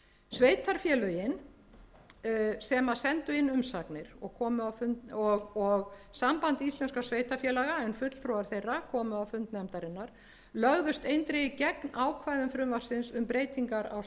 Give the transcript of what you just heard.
sveitarfélögin sem sendu inn umsagnir og samband íslenskra sveitarfélaga en fulltrúar þeirra komu á fund nefndarinnar lögðust eindregið gegn ákvæðum frumvarpsins um breytingar á skipulagslögum